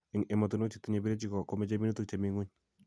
Eng' emotinwek che tinyei birechikko ko mechei minutik chemi ngwony